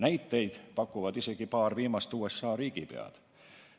Näiteid pakuvad isegi paar viimast USA riigipead.